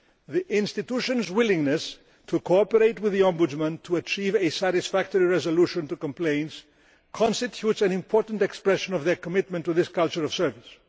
The institutions' willingness to cooperate with the Ombudsman to achieve a satisfactory resolution to complaints constitutes an important expression of their commitment to this culture of service.